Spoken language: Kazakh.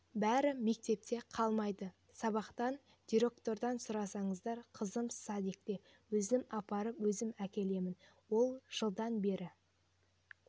бәрі мектепте қалмайды сабақтан директордан сұраңыздар қызым садикте өзім апарып өзім әкелемін ол жылдан бері